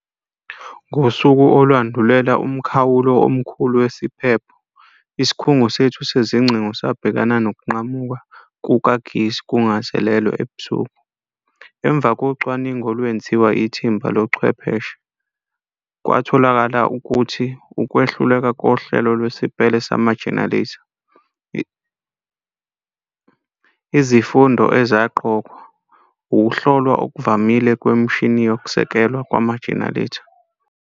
Ngosuku olwandulela umkhawulo omkhulu wasiphepho. Isikhungo sethu sezingcingo sabhekana nokunqamuka kukagesi kungazelelwe ebusuku emva kocwaningi olwenziwa ithimba lo chwepheshe. Kwatholakala ukuthi ukwehluleka kohlelo lwesipele sama-generator. Izifundo ezaqokwa, ukuhlolwa okuvamile kwemishini yokusekelwa kwama-generator.